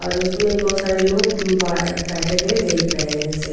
जिसमें बहुत सारे लोग बैठे हुए देख रहे हैं इसे.